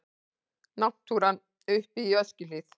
Náttúran uppi í Öskjuhlíð.